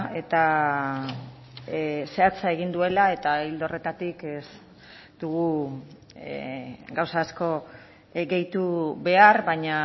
eta zehatza egin duela eta ildo horretatik ez dugu gauza asko gehitu behar baina